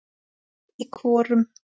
Í hvorum?